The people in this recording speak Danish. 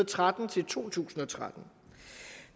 tretten til to tusind og tretten